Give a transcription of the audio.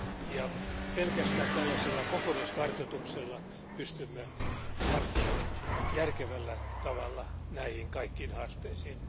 Jo pelkästään tällaisella kokonaiskartoituksella pystymme tarttumaan järkevällä tavalla näihin kaikkiin haasteisiin.